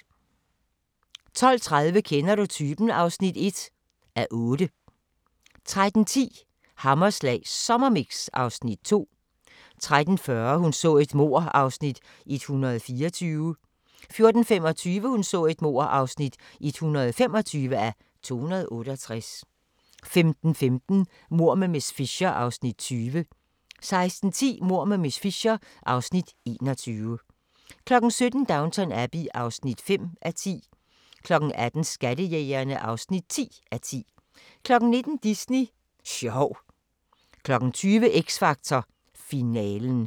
12:30: Kender du typen? (1:8) 13:10: Hammerslag Sommermix (Afs. 2) 13:40: Hun så et mord (124:268) 14:25: Hun så et mord (125:268) 15:15: Mord med miss Fisher (Afs. 20) 16:10: Mord med miss Fisher (Afs. 21) 17:00: Downton Abbey (5:10) 18:00: Skattejægerne (10:10) 19:00: Disney sjov 20:00: X Factor finalen